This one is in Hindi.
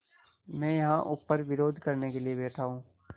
मैं यहाँ ऊपर विरोध करने के लिए बैठा हूँ